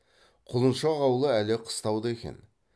құлыншақ аулы әлі қыстауда екен